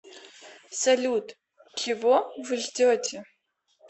салют чего вы ждете